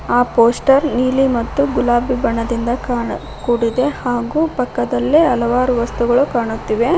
ಆ ಪೋಸ್ಟರ್ ನೀಲಿ ಮತ್ತು ಗುಲಾಬಿ ಬಣ್ಣದಿಂದ ಕಾಣಾ ಕೂಡಿದೆ ಹಾಗೂ ಪಕ್ಕದಲ್ಲಿ ಹಲವಾರು ವಸ್ತುಗಳು ಕಾಣುತ್ತಿವೆ.